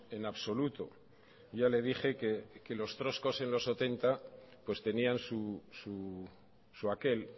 en absoluto ya le dije que los trotskos en los setenta tenían su aquel